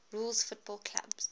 rules football clubs